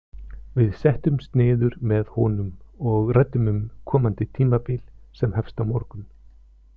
Við settumst niður með honum og ræddum um komandi tímabil sem hefst á morgun.